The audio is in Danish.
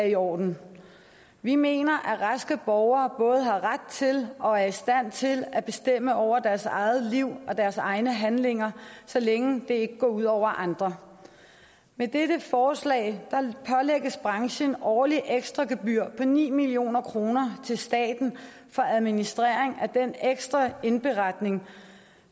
i orden vi mener at raske borgere både har ret til og er i stand til at bestemme over deres eget liv og deres egne handlinger så længe det ikke går ud over andre med dette forslag pålægges branchen årlige ekstragebyrer på ni million kroner til staten for administration af den ekstra indberetning